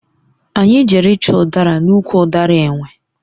Anyị jere ịchọ ụdara n'ụkwụ ụdara enwe.